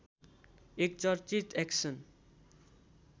एक चर्चित एक्सन्